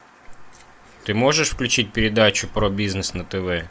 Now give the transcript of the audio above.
ты можешь включить передачу про бизнес на тв